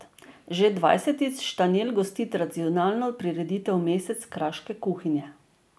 Že dvajsetič Štanjel gosti tradicionalno prireditev Mesec kraške kuhinje.